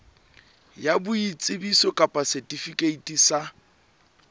ya boitsebiso kapa setifikeiti sa